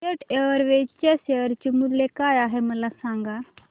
jet Airways च्या share चे मूल्य काय आहे मला सांगा